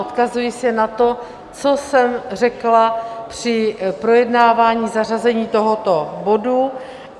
Odkazuji se na to, co jsem řekla při projednávání zařazení tohoto bodu.